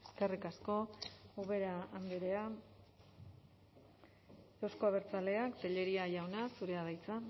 eskerrik asko ubera andrea euzko abertzaleak telleria jauna zurea da hitza